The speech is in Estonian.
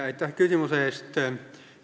Aitäh küsimuse eest!